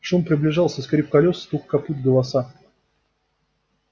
шум приближался скрип колёс стук копыт голоса